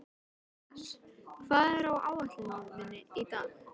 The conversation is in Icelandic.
Anders, hvað er á áætluninni minni í dag?